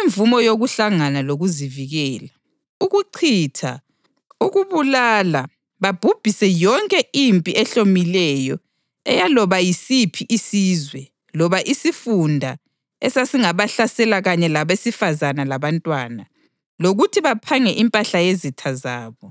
imvumo yokuhlangana lokuzivikela; ukuchitha, ukubulala babhubhise yonke impi ehlomileyo eyaloba yisiphi isizwe loba isifunda esasingabahlasela kanye labesifazane labantwana; lokuthi baphange impahla yezitha zabo.